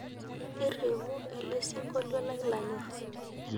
irriu ele sinkolio lai lanyorr